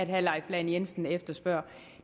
herre leif lahn jensen efterspørger